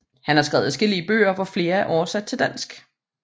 Han har skrevet adskillige bøger hvor flere er oversat til dansk